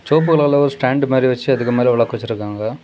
சோப்போல் அளவு ஸ்டாண்ட் மாதிரி வச்சு அதுக்கு மேல விளக்கு வச்சிருக்காங்க.